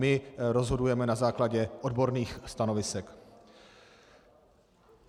My rozhodujeme na základě odborných stanovisek.